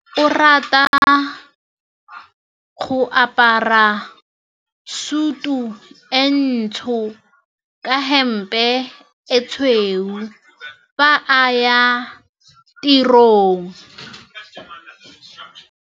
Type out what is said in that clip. Onkabetse o rata go apara sutu e ntsho ka hempe e tshweu fa a ya tirong.